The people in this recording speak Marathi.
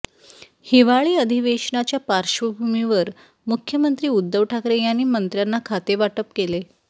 हिवाळी अधिवेशनाच्या पार्श्वभूमीवर मुख्यमंत्री उद्धव ठाकरे यांनी मंत्र्यांना खाते वाटप केले